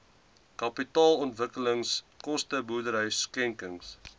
kapitaalontwikkelingskoste boerdery skenkings